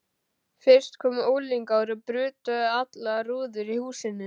Fyrst komu unglingar og brutu allar rúður í húsinu.